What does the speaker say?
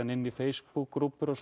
inn í Facebook